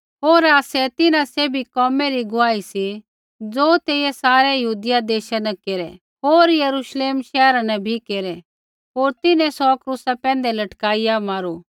होर आसै तिन्हां सैभी कोमै रै गुआही सी ज़ो तेइयै सारै यहूदिया देशा न केरै होर यरूश्लेम शैहरा न बी केरै होर तिन्हैं सौ क्रूसा पैंधै लटकाइआ मारू